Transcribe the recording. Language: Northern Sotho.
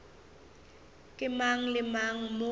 ke mang le mang mo